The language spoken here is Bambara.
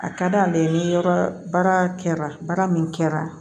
A ka d'ale ye ni yɔrɔ baara kɛra baara min kɛra